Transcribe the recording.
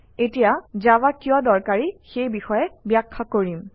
এতিয়া জাভা কিয় দৰকাৰী সেই বিষয়ে ব্যাখ্যা কৰিম